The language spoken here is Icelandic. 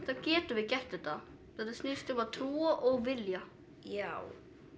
þá getum við gert þetta þetta snýst um að trúa og vilja já